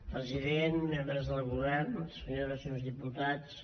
president membres del govern senyores i senyors diputats